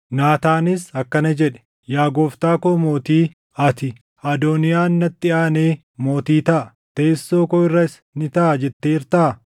Naataanis akkana jedhe; “Yaa gooftaa koo mootii, ati, ‘Adooniyaan natti aanee mootii taʼa; teessoo koo irras ni taaʼa’ jetteertaa?